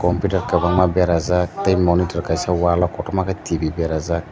computer kwbangma berajak tei monitor kaisa wallo kotorma ke tv berajak.